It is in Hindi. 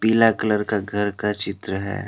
पीला कलर का घर का चित्र है।